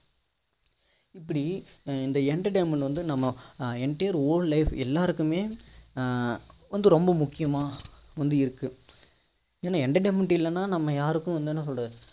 இப்படி இந்த entertainment வந்து நம்ம entire whole life எல்லாருக்குமே ஆஹ் வந்து ரொம்ப முக்கியமா முந்தி இருக்கு ஏன்னா entertainment இல்லன்னா நம்ம யாருக்கு வந்து என்ன சொல்ல